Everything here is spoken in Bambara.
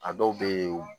A dɔw bɛ yen